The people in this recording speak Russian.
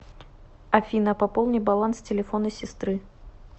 афина пополни баланс телефона сестры